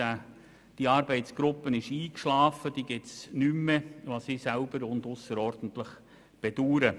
Die Arbeitsgruppe schlief ein, sie existiert nicht mehr, was ich selber ausserordentlich bedaure.